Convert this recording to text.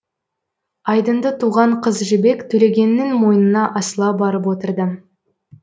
айдынды туған қыз жібек төлегеннің мойнына асыла барып отырды